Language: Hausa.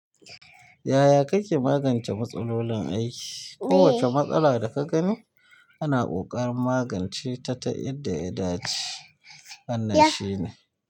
Yaya kake magance matsalolin aiki? Kowace matsala da ka gani ana ƙoƙarin magance ta ta yadda ya dace. Wannan shine.